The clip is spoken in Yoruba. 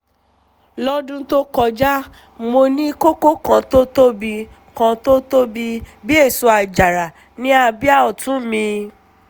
lọ́dún tó kọjá mo ní kókó kan tó tóbi kan tó tóbi bí èso àjàrà ní abíyá ọ̀tún mi